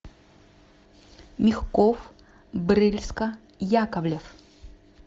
мягков брыльска яковлев